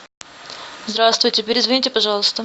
здравствуйте перезвоните пожалуйста